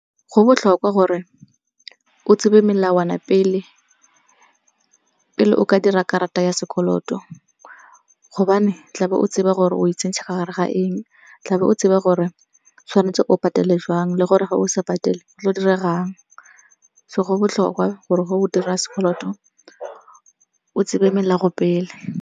Go botlhokwa gore o tsebe melawana pele, pele o ka dira karata ya sekoloto gobane tlabe o tseba gore o itsentsha ka gare ga eng. Tlabe o tseba gore tshwanetse o patele jang le gore ga o sa patele go tlo go diregang. So go botlhokwa gore ge o dira sekoloto o tsebe melago pele.